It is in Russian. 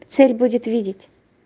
цель будет видеть